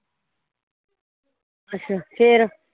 ਅੱਛਾ ਫੇਰ